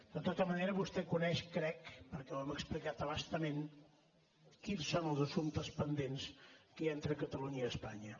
de tota manera vostè coneix crec perquè ho hem explicat a bastament quins són els assumptes pendents que hi ha entre catalunya i espanya